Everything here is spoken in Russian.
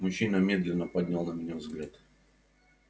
мужчина медленно поднял на меня взгляд